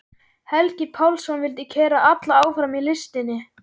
Helgi Pálsson vildi keyra alla áfram í listinni.